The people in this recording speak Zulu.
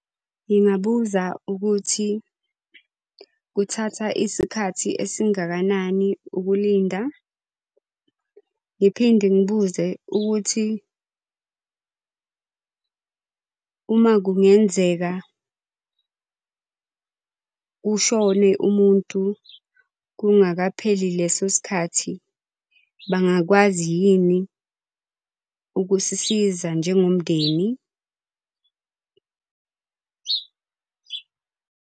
Ngingabuza ukuthi kuthatha isikhathi esingakanani ukulinda, ngiphinde ngibuze ukuthi uma kungenzeka kushone umuntu kungakapheli leso sikhathi, bangakwazi yini ukusisiza njengomndeni.